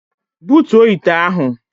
Butuo ite ahụ!